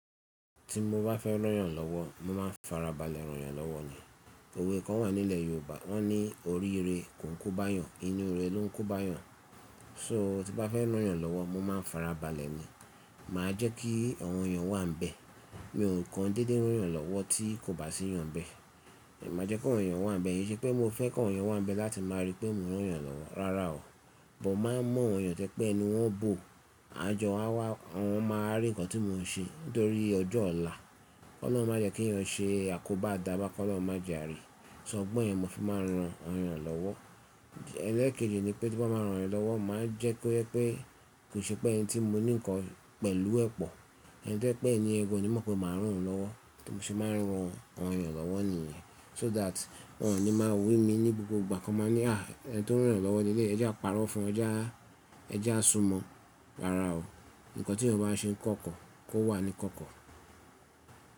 Ti mo bá fẹ́ ràn yàn lọ́wọ́, mo máa ń fara balẹ̀ rán yàn lọ́wọ́ ni. Òwe kan wà nílẹ̀ Yorùbá wọ́n ní "Orí ire kò ńko bá eeyàn, inú ire ló ńko bá eeyàn." So tí bá fẹ́ rán yàn lọ́wọ́, mo máa ń fara balẹ̀ ni. Máa jẹ́ kí àwọn èèyàn wà níbẹ̀. Mi òún kan dédé rán yàn lọ́wọ́ tí kò bá sí èèyàn n bẹ́ẹ̀. Èmi máa jẹ́ ki awọn èèyàn wà níbẹ̀, kìí ṣe pé mo fẹ́ kawon èèyàn wà níbẹ̀ láti máa rí pé mo rán yàn lọ́wọ́. Rárá o, but mo máa ń mọ̀ awọn èèyàn tó jẹ pé ẹnu wọ́n ń bò, àjọ wa wá, wọn máa rí ǹkan tí mo ń ṣe nítorí ọjọ́ ọ̀la. Ọlọ́run má jẹ́ kí yàn ṣe, àkóbá a dà bá, kó lọ́run má je a rí. So ọgbọ́n yẹn mo fi máa ń rán awọn èèyàn lọ́wọ́. Ẹ̀lẹ́ẹ̀keji ni pé tí bá máa rán yàn lọ́wọ́, màá jẹ́ kó ẹ pé kò ṣe pé ẹni tí mo ní ǹkan pẹ̀lú ẹ pọ̀. Ẹ jẹ́ pé ẹniyen kò ní mọ̀ pé màá rán òun lọ́wọ́ tí mo ṣe máa ń rán awọn èèyàn lọ́wọ́ nìyẹn. So that wọn ò ní máa wí mi ní gbogbo ìgbà kí wọ́n máa ni "Ah ẹni tó ń rán yàn lọ́wọ́ leleyii, ẹ já parọ́ fún ẹ jẹ á, ẹ já súnmọ́." Rárá o, ǹkan tí ènìyàn bá ṣe ń kọ́kọ́ kò wà ní kọ́kọ́.